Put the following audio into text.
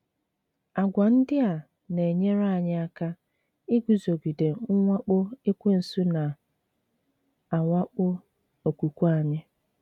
Àgwà ndị a na - enyere anyị aka iguzogide mwakpo Ekwensu na - awakpo okwukwe anyị.